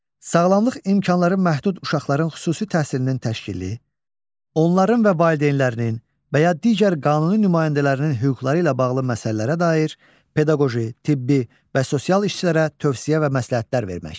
Sağlamlıq imkanları məhdud uşaqların xüsusi təhsilinin təşkili, onların və valideynlərinin və ya digər qanuni nümayəndələrinin hüquqları ilə bağlı məsələlərə dair pedaqoji, tibbi və sosial işçilərə tövsiyə və məsləhətlər vermək.